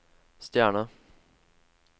stjerne